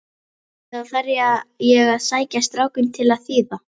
Eða þarf ég að sækja strákinn til að þýða?